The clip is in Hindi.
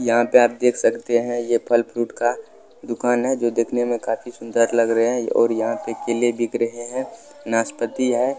यहां पर आप देख सकते हैं ये फल फ्रूट का दुकान है जो दिखने में काफी सुंदर लग रहे हैं और यहां पे केले बिक रहे हैं नाशपती है।